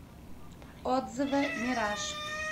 отзывы мираж